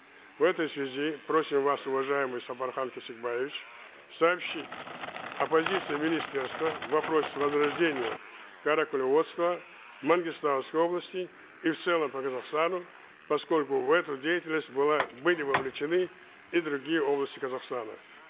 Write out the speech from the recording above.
в этой связи просим вас уважаемый сапархан кесикбаевич сообщить о позиции министерства в вопросе возрождения каракулеводства в мангистауской области и в целом по казахстану поскольку в эту деятельность была были вовлечены и другие области казахстана